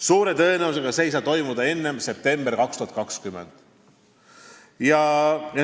Suure tõenäosusega ei saa see toimuda enne septembrit 2020.